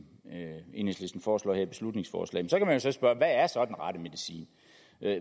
enhedslisten foreslår i det her beslutningsforslag så kan man spørge hvad er så den rette medicin